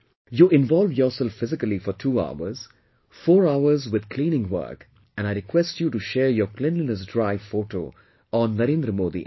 You involve yourself physically for 2 hours, 4 hours with cleaning work and I request you to share your cleanliness drive photo on NarendraModiApp